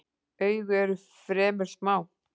Augu eru fremur smá.